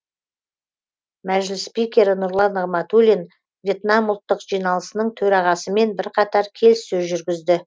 мәжіліс спикері нұрлан нығматуллин вьетнам ұлттық жиналысының төрағасымен бірқатар келіссөз жүргізді